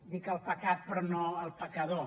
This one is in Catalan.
dic el pecat però no el pecador